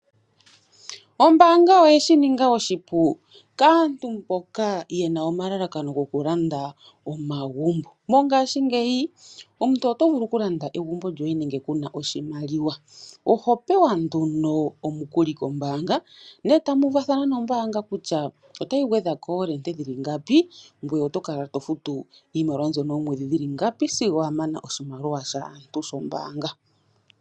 Ombanga oyeshi ninga oshipu kaantu mboka mboka yena omalalakano goku landa omagumbo mongashingeyi omuntu oto vulu ku landa egumbo lyoye nande kuna oshimaliwa oho pewa nduno omukuli kombaanga ne tamu uvathana nombaanga kutya otayi gwedhako oorente dhili ngapi ngweye oto kala to futu iimaliwa mbyono oomwedhi dhili ngapi sigo wa mana oshimaliwa shaantu shombanga.